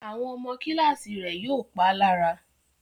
Àwọn ọmọ Kíláàsì rẹ̀ yóò pá lára